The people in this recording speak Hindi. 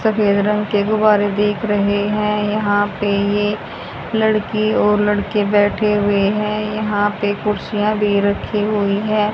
सफेद रंग के गुब्बारे दिख रहे है। यहां पे ये लड़की और लड़के बैठे हुए है। यहां पे कुर्सिया भी रखी हुई है।